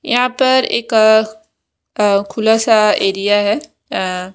यहां पर एक अ खुला सा एरिया है। अ--